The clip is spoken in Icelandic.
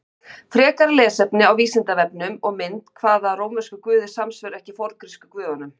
Frekara lesefni á Vísindavefnum og mynd Hvaða rómversku guðir samsvöruðu ekki forngrísku guðunum?